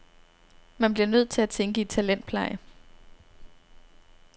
Man bliver nødt til at tænke i talentpleje.